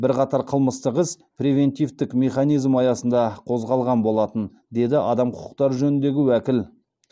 бірқатар қылмыстық іс превентивтік механизм аясында қозғалған болатын деді адам құқықтары жөніндегі уәкіл